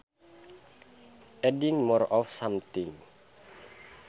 Adding more of something